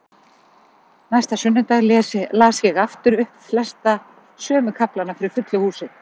Næsta sunnudag las ég aftur upp flesta sömu kaflana fyrir fullu húsi.